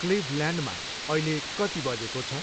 क्लिभल्यान्डमा अहिले कति बजेको छ?